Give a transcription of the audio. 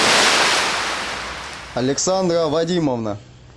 александра вадимовна